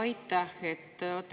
Aitäh!